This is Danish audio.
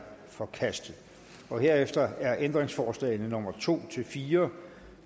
forkastet herefter er ændringsforslagene nummer to fire